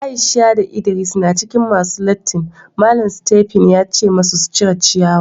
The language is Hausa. Aisha da ldris na cikin masun latin .Mallam Stephen ya ce masu su cire ciyawa.